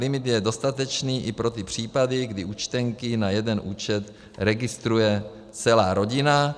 Limit je dostatečný i pro ty případy, kdy účtenky na jeden účet registruje celá rodina.